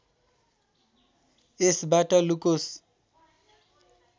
यसबाट लुकोस्